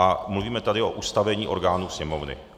A mluvíme tady o ustavení orgánů Sněmovny.